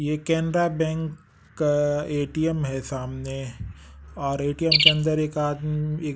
ये केनरा बैंक का ए_टी_एम है सामने और ए_टी_एम के अंदर एक आदम एक--